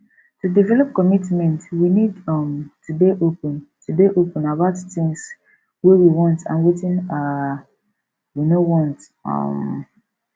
to develop commitment we need um to dey open to dey open about things wey we want and wetin um we no want um